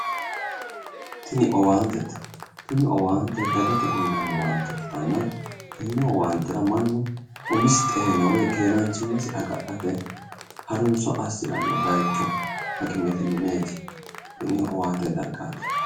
Tini owaantete tini owaante dagare uuyinanni owaante ikkitanna, tenne owaantera mannu umisi xeninnet woyi keeraanchimmasi agadhate harunso assiranno baayicho hakimete mineeti. Tini owaantete.